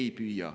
Ei püüa.